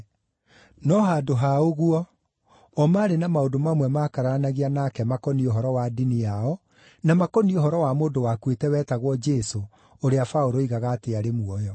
No handũ ha ũguo, o maarĩ na maũndũ mamwe maakararanagia nake makoniĩ ũhoro wa ndini yao na makoniĩ ũhoro wa mũndũ wakuĩte wetagwo Jesũ ũrĩa Paũlũ oigaga atĩ arĩ muoyo.